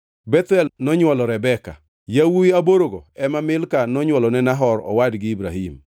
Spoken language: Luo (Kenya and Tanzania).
Bethuel nonywolo Rebeka. Yawuowi aborogo ema Milka nonywolone Nahor owadgi Ibrahim.